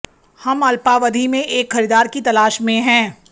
हम अल्पावधि में एक खरीदार की तलाश में हैं